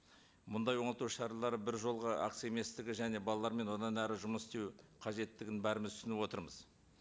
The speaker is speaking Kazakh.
мұндай оңалту шаралары бір жолғы акция еместігі және балалармен одан әрі жұмыс істеу қажеттігін бәріміз түсініп отырмыз